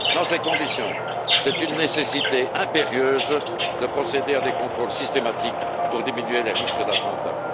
Dans ces conditions, c'est une nécessité impérieuse de procéder à des contrôles systématiques pour diminuer les risques d'attentats.